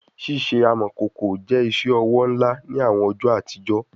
Ṣiṣe amọkoko jẹ iṣowo nla ni awọn ọjọ atijọ